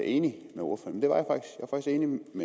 enig i noget